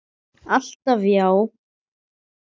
Alltaf já.